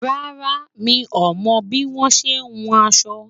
rárá, mí ọmọ bi wọn ṣẹ hùn aṣọ